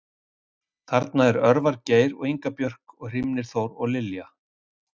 Þarna er Örvar Geir og Inga Björk og Hrímnir Þór og Lilja